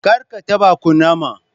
Karka taba kunama.